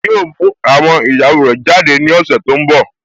Yíò mú àwọn ìyàwó rẹ̀ jáde ní ọ̀sẹ̀ tó n bọ̀